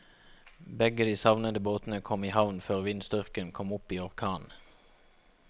Begge de savnede båtene kom i havn før vindstyrken kom opp i orkan.